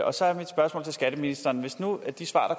og så er mit spørgsmål til skatteministeren hvis nu de svar